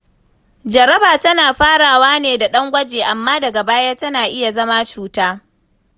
Jaraba tana farawa ne da ɗan gwaji, amma daga baya tana iya zama cuta.